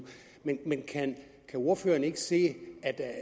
men kan ordføreren ikke se